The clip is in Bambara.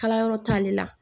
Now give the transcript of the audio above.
Kala yɔrɔ t'ale la